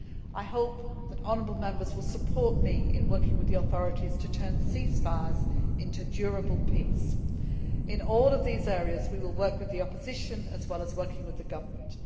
I hope that the honourable Members will support me in working with the authorities to turn ceasefires into durable peace. In all these areas we will work with the opposition as well as the government.